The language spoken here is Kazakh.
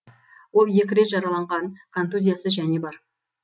ол екі рет жараланған контузиясы және бар